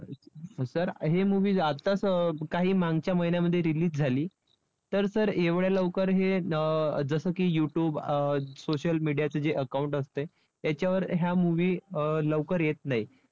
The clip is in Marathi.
तर हे movies आत्ताच अं काही मागच्या महिन्यामध्ये release झाली. तर sir एवढ्या लवकर हे अं जसं की YouTube अं social media चे जे account असते त्याच्यावर ह्या movie अं लवकर येत नाहीत.